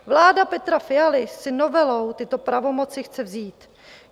Vláda Petra Fialy si novelou tyto pravomoci chce vzít.